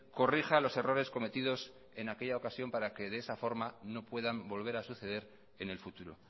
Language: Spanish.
corrija los errores cometidos en aquella ocasión para que de esa forma no puedan volver a suceder en el futuro